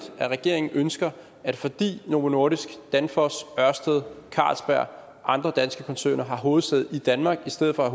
at regeringen ønsker at fordi novo nordisk danfoss ørsted carlsberg og andre danske koncerner har hovedsæde i danmark i stedet for at